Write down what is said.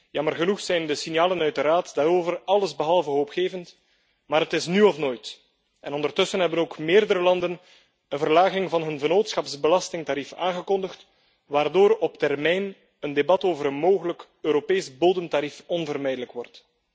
Jammer genoeg zijn de signalen uit de Raad daarover allesbehalve hoopgevend, maar het is nu of nooit. Ondertussen hebben ook meerdere landen een verlaging van hun vennootschapsbelastingtarief aangekondigd, waardoor op termijn een debat over een mogelijk Europees bodemtarief onvermijdelijk wordt.